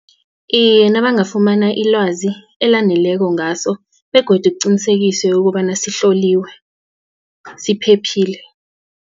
Iye, nabangafumana ilwazi elaneleko ngaso begodu kuqinisekise ukobana sihloliwe siphephile.